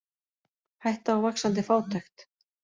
Hætta á vaxandi fátækt